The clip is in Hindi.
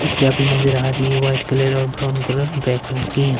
भी नजर आ रही है वाइट कलर और ब्राउन कलर ब्लैक कलर की यहां--